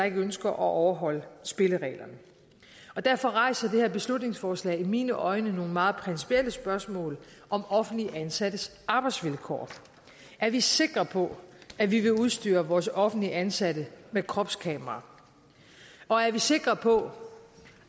ønsker at overholde spillereglerne derfor rejser det her beslutningsforslag i mine øjne nogle meget principielle spørgsmål om offentligt ansattes arbejdsvilkår er vi sikre på at vi vil udstyre vores offentligt ansatte med kropskameraer og er vi sikre på